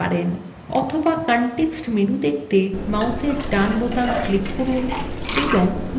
অথবা context menu দেখতে মাউসের ডান বোতাম click করুন এবং next নির্বাচন করুন